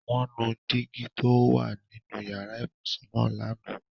Wọn nù dígi tó o wà nínu yara-íbusun naá lana.